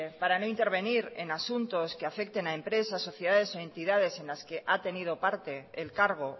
para no intervenir en asuntos que afecte a empresas sociedades o entidades en las que ha tenido parte el cargo